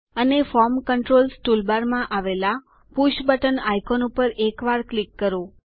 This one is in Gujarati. અને ફોર્મ કંટ્રોલ્સ ટૂલબારમાં આવેલા પુષ બટન આઇકોન ઉપર એક વાર ક્લિક કરો